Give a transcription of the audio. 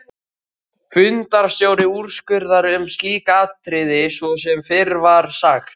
Fundarstjóri úrskurðar um slík atriði svo sem fyrr var sagt.